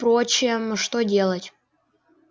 впрочем что делать